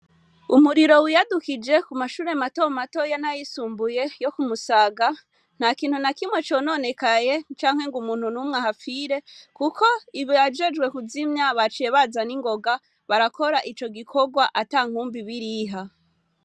Umuriro wiyadukije ku mashure matomato ya nayisumbuye yo kumusaga nta kintu na kimwe cononekaye canke ngo umuntu n'umwe ahafire, kuko ibi ajejwe kuzimya baciye bazana ingoga barakora ico gikorwa ata nkumbi biriha.